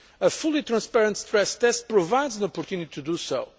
them. A fully transparent stress test provides the opportunity to